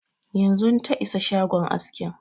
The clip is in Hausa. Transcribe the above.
Yanzun ta isa shagon askin